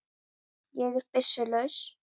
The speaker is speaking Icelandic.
Ég er byssu laus.